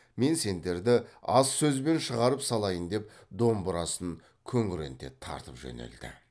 мен сендерді аз сөзбен шығарып салайын деп домбырасын күңіренте тартып жөнелді